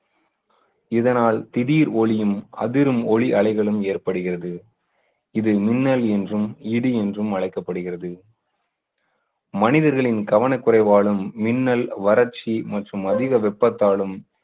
இதனால் திடீர் ஒளியும் அதிரும் ஒலி அலைகளும் ஏற்படுகிறது. இது மின்னல் என்றும் இடி என்றும் அழைக்கப்படுகிறது மனிதர்களின் கவனக்குறைவாலும் மின்னல் வறட்சி மற்றும் அதிக வெப்பத்தாலும்